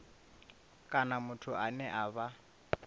kana muthu ane a vha